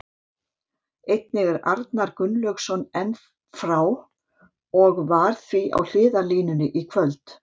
Einnig er Arnar Gunnlaugsson enn frá og var því á hliðarlínunni í kvöld.